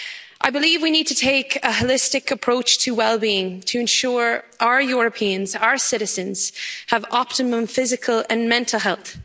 I believe we need to take a holistic approach to well being to ensure our Europeans, our citizens have optimum physical and mental health.